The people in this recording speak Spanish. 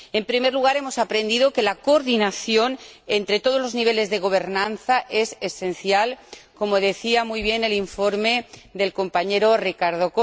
En primer lugar, hemos aprendido que la coordinación entre todos los niveles de gobernanza es esencial, como decía muy bien el informe del señor Cortés.